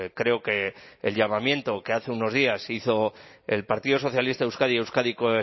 creo que el llamamiento que hace unos días hizo el partido socialista de euskadi euskadiko